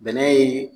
Bɛnɛ ye